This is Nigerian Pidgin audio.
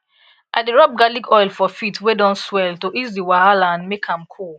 i dey rub garlic oil for di feet wey don swell to ease di wahala and make am cool